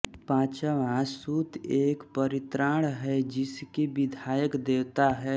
पाँचवाँ सुत्त एक परित्राण है जिसके विधायक देवता हैं